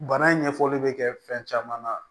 Bana ɲɛfɔli bɛ kɛ fɛn caman na